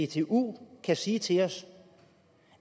dtu kan sige til at os